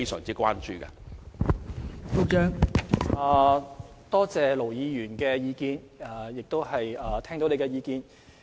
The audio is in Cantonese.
多謝盧議員的意見，而我亦聽到你的意見。